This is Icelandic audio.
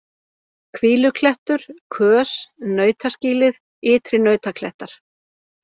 Hvíluklettur, Kös, Nautaskýlið, Ytri-Nautaklettar